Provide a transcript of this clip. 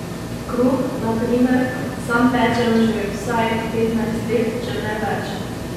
Kruh, na primer, sam pečem že vsaj petnajst let, če ne več ...